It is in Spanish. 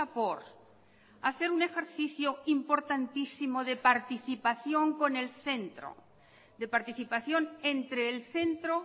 por hacer un ejercicio importantísimo de participación con el centro de participación entre el centro